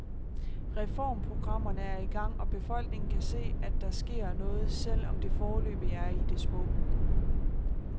Reformprogrammerne er i gang, og befolkningen kan se, at der sker noget, selv om det foreløbig er i det små.